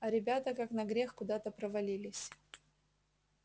а ребята как на грех куда то провалились